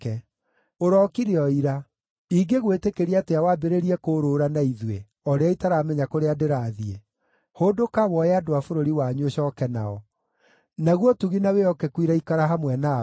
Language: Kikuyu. Ũrookire o ira. Ingĩgwĩtĩkĩria atĩa wambĩrĩrie kũũrũũra na ithuĩ, o rĩrĩa itaramenya kũrĩa ndĩrathiĩ? Hũndũka, woe andũ a bũrũri wanyu ũcooke nao. Naguo ũtugi na wĩhokeku iroikara hamwe nawe.”